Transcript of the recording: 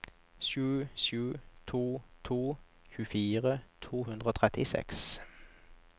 sju sju to to tjuefire to hundre og trettiseks